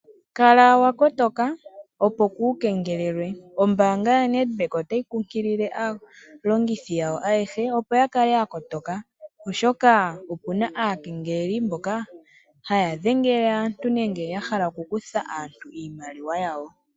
Kala wakotoka opo ku kengelelwa. Ombaanga yo Nedbank otayi kunkilile aalongithi yawo ayehe opo yakale ya kotoka ,oshoka opena aakengeleli haya dhengele aantu nenge ya hala okukutha aantu iimaliwa yawo